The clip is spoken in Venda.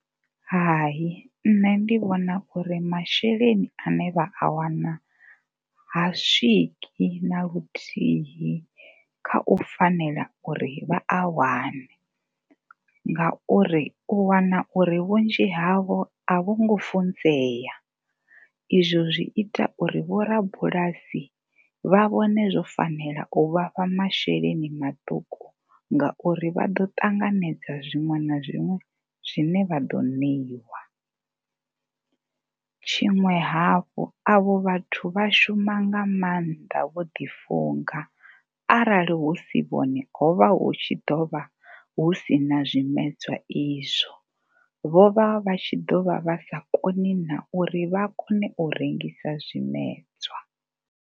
Hai, nṋe ndi vhona uri masheleni a ne vha a wana ha swiki na luthihi kha u fanela uri vha a wane ngauri u wana uri vhunzhi havho a vho ngo funzea. Izwo zwi ita uri vho rabulasi vha vhone zwo fanela u vha fha masheleni maṱuku ngauri vha ḓo ṱanganedza zwiṅwe na zwiṅwe zwine vha ḓo ṋeiwa. Tshiṅwe hafhu a vho vhathu vha shuma nga maanḓa vho ḓifunga arali hu si vhone ho vha hu tshi ḓo vha hu si na zwimedzwa izwo. Vho vha tshi ḓo vha vha sa koni na uri vha kone u rengisa zwimedzwa.